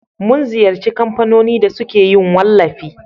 mun ziyarci kamfanoni da suke yin wallafi